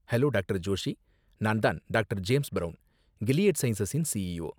Hello doctor. Joshi. நான் தான் doctor. James Brown, Gilead சயின்சஸின் சிஇஓ.